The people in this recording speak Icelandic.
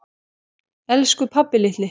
Elsku pabbi litli.